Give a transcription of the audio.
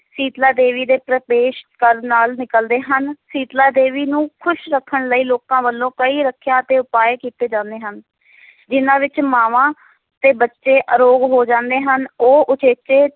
ਸੀਤਲਾ ਦੇਵੀ ਦੇ ਪ੍ਰਵੇਸ਼ ਕਰਨ ਨਾਲ ਨਿਕਲਦੇ ਹਨ, ਸੀਤਲਾ ਦੇਵੀ ਨੂੰ ਖੁਸ਼ ਰੱਖਣ ਲਈ ਲੋਕਾਂ ਵੱਲੋਂ ਕਈ ਰੱਖਾਂ ਤੇ ਉਪਾਅ ਕੀਤੇ ਜਾਂਦੇ ਹਨ ਜਿਨ੍ਹਾਂ ਮਾਵਾਂ ਤੇ ਬੱਚੇ ਅਰੋਗ ਹੋ ਜਾਂਦੇ ਹਨ, ਉਹ ਉਚੇਚੇ